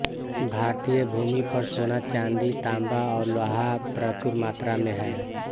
भारतीय भूमि पर सोना चांदी तांबा और लोहा प्रचुर मात्रा में हैं